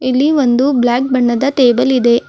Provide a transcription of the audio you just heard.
ಇಲ್ಲಿ ಒಂದು ಬ್ಲಾಕ್ ಬಣ್ಣದ ಟೇಬಲ್ ಇದೆ.